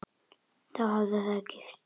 Og þá hafið þið gifst?